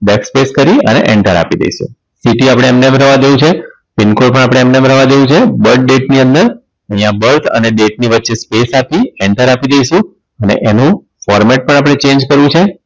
Back space કરી અને enter આપી દઈશું city આપણે એમ ને એમ રેવા દેવું છે pin code પણ આપણે એમ નમ રવા દેવું છે Birth date ની અંદર અહીંયા Birth અને date ની વચ્ચે spece આપી enter આપી દઈશું ને એનું format પણ આપણે Change કરવું છે.